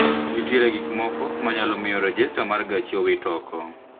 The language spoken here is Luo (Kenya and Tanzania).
Nitiere gik moko manyalo miyo rejester mar gachi owit ooko